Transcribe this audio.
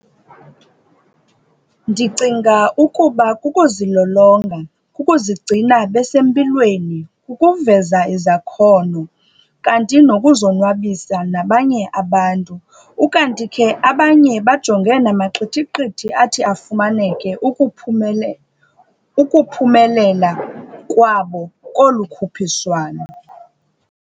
Ndicinga ukuba kukuzilolonga, kukuzigcina besempilweni, kukuveza izakhono, kanti nokuzonwabisa nabanye abantu. Ukanti ke, abanye bajonge namaqithiqithi athi afumaneke ukuphumelela kwabo kolukhuphiswano.